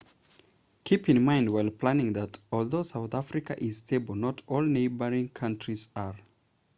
keep in mind while planning that although southern africa is stable not all neighboring countries are